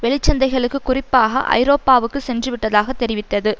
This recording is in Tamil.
வெளிச்சந்தைகளுக்கு குறிப்பாக ஐரோப்பாவுக்கு சென்று விட்டதாக தெரிவித்தது